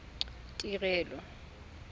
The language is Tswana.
tirelo